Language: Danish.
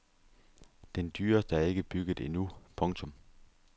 Den dyreste er ikke bygget endnu. punktum